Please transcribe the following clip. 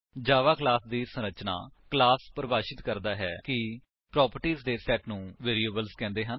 ਜਾਵਾ class ਦੀ ਸੰਰਚਨਾ class ਪਰਿਭਾਸ਼ਿਤ ਕਰਦਾ ਹੈ ਕਿ ਪ੍ਰੋਪਰਟਿਸ ਦੇ ਸੇਟ ਨੂੰ ਵੇਰਿਏਬਲਸ ਕਹਿੰਦੇ ਹਨ